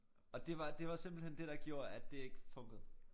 Og det var det var simpelthen det der gjorde at det ikke funkede